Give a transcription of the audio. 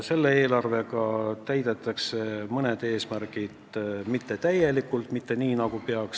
Selle eelarvega täidetakse mõned eesmärgid mittetäielikult, mitte nii, nagu peaks.